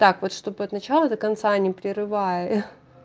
так вот чтобы от начала до конца не прерывая